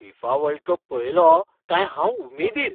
FIFA world cup पळयलो काय हांव उमेदीर.